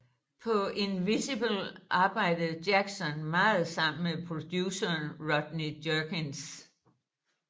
På Invincible arbejdede Jackson meget sammen med produceren Rodney Jerkins